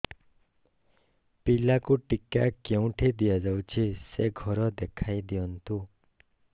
ପିଲାକୁ ଟିକା କେଉଁଠି ଦିଆଯାଉଛି ସେ ଘର ଦେଖାଇ ଦିଅନ୍ତୁ